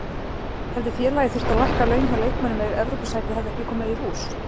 Hefði félagið þurft að lækka laun hjá leikmönnum ef Evrópusætið hefði ekki komið í hús?